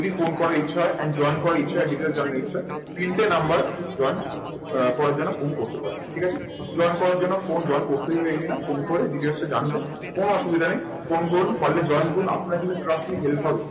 যদি ফোন করার ইচ্ছা হয়, and join করার ইচ্ছা হয়, details জানার ইচ্ছে হয়, তিনটে number join আহ করার জন্য ফোন করতে পারেন। ঠিক আছে? join করার জন্য phone join করতেই হবে এমনি না। ফোন করে details টা জানতে কোনো অসুবিধা নেই। ফোন করুন, পারলে join করুন, আপনার জন্য trust me help হবে।